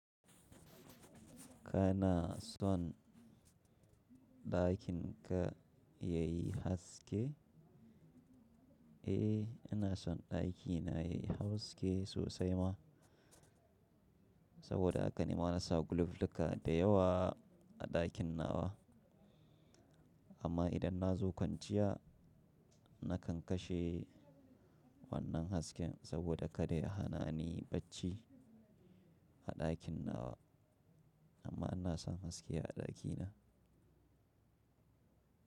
Kana son-- ɗakin ka yayi haske? Eh, ina son ɗakina yayi haske sosai ma, saboda haka ni ma na sa gulufluka da yawa a ɗakin nawa. Amma idan na zo kwanciya, na kan kashe wannan hasken saboda kada ya hana ni bacci a ɗakin nawa. Amma ina son haske a ɗakina.